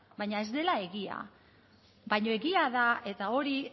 baina ez dela egia baina egia da eta hori